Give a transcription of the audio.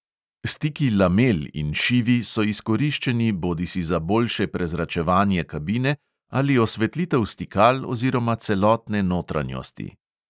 Stiki lamel in šivi so izkoriščeni bodisi za boljše prezračevanje kabine ali osvetlitev stikal oziroma celotne notranjosti.